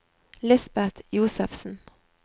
Lisbeth Josefsen